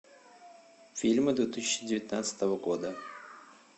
фильмы две тысячи девятнадцатого года